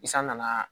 I san nana